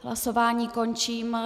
Hlasování končím.